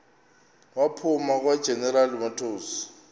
waphuma kwageneral motors